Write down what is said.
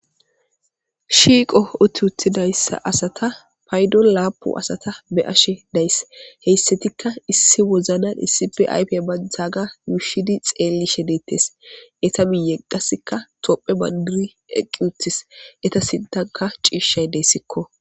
Shiiqo uti uttidaysa asata paydoni lapuni asata be'ashe daysi , heysatika issi wozanani issippe ayfa bantagan yuushidi xelishe detesi,eta miyen qase tophiya bandiri eqi utisi , eta sinthanika ciishayi desiko.